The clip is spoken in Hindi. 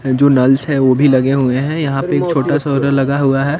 अँ जो नल्स है वो भी लगे हुए हैं यहाँ पे एक छोटा सोलर लगा हुआ है।